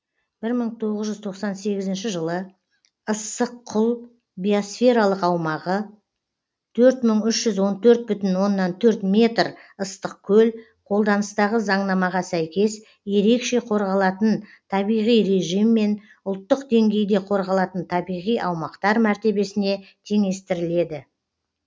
бір мың тоғыз жүз тоқсан сегізінші жылы ыссық құл биосфералық аумағы төрт мың үш жүз он төрт бүтін оннан төрт метр ыстықкөл қолданыстағы заңнамаға сәйкес ерекше қорғалатын табиғи режиммен ұлттық деңгейде қорғалатын табиғи аумақтар мәртебесіне теңестіріледі